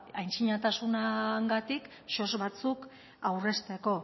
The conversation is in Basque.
antzinatasunagatik soz batzuk aurrezteko